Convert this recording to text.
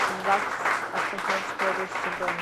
загс астраханской области бронь